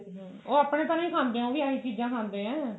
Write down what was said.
ਉਹਨੇ ਆਪਣੇ ਨਹੀ ਤਾਂ ਖਾਂਦੇ ਹੈ ਉਹ ਵੀ ਏਹੋਜਿਹੀ ਚੀਜ਼ਾਂ ਖਾਂਦੇ ਨੇ